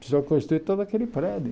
Precisou construir todo aquele prédio.